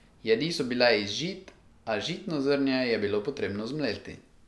Jedi so bile iz žit, a žitno zrnje je bilo potrebno zmleti.